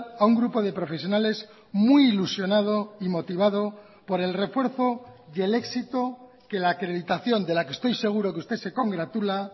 a un grupo de profesionales muy ilusionado y motivado por el refuerzo y el éxito que la acreditación de la que estoy seguro que usted se congratula